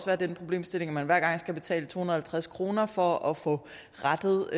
være den problemstilling at man hver gang skal betale to hundrede og halvtreds kroner for at få rettet